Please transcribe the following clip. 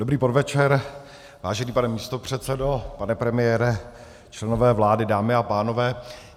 Dobrý podvečer, vážený pane místopředsedo, pane premiére, členové vlády, dámy a pánové.